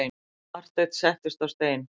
Marteinn settist á stein.